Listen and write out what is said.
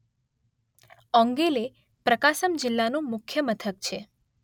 ઓંગોલે પ્રકાસમ જિલ્લાનું મુખ્ય મથક છે.